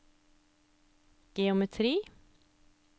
geometri